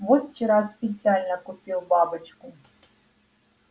вот вчера специально купил бабочку